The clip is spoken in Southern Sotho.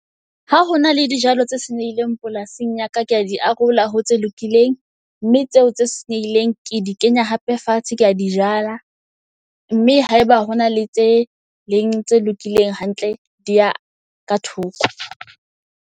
Ha ho na le di jalo tse senyehileng polasing ya ka, kea di arola ho tse lokileng. Mme tseo tse senyehileng ke di kenya hape fatshe, kea di jala. Mme ha eba hona le tse leng tse lokileng hantle, di ya ka thoko.